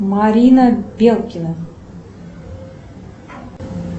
марина белкина